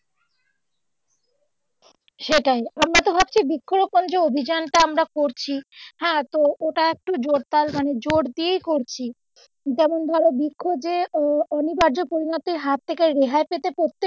সেটাই, আমরা হচ্ছে বৃক্ষ রোপণ যে অভিজানটা আমরা করছি হ্যাঁ তো ওটা একটু জোর তাল মানে জোর দিয়েই করছি যেমন ধরো বৃক্ষ যে অনিবার্য পরিমাপে হার থেকে রেহাই পেতে প্রত্যেক,